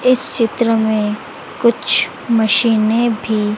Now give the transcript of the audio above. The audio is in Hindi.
इस चित्र में कुछ मशीनें भी--